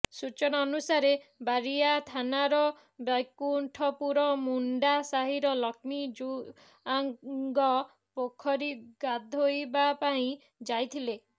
ସୂଚନା ଅନୁସାରେ ବାରିଆ ଥାନାର ବୈକୁଣ୍ଠପୁର ମୁଣ୍ଡା ସାହିର ଲକ୍ଷ୍ମୀ ଜୁଆଙ୍ଗ ପୋଖରୀ ଗାଧୋଇବା ପାଇଁ ଯାଇଥିଲେ